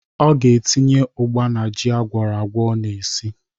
Ọ ga-etinye ụgba n'ji agwọrọagwọ ọ na-esi.